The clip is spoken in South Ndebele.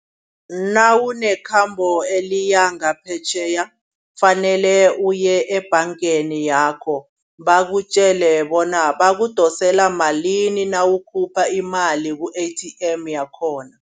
Nawunekhambo eliyia ngaphetjheya kufanele uye ebhangeni yakho. Bakutjele bona bakudosela malini nawukhuluma imali ku-ATM yakhona.